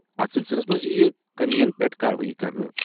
اَتھ سلسلَس منٛز یِیہِ کٔمِیَن پیٚٹھ کاروٲیی کرنہٕ۔